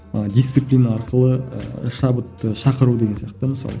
ы дисциплина арқылы ыыы шабытты шақыру деген сияқты мысалы